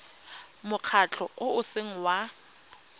mokgatlho o o seng wa